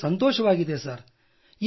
ಬಹಳ ಸಂತೋಷವಾಗಿದೆ ಸರ್